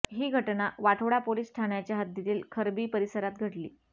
ही घटना वाठोडा पोलिस ठाण्याच्या हद्दीतील खरबी परिसरात घडली